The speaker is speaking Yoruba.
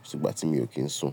Kò si ìgbà tí mi ò kí ń sùn.